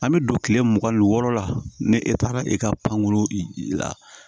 An bɛ don kile mugan ni wɔɔrɔ la ni e taara i ka panko la